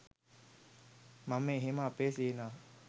මම එහෙම අපේ සේනාව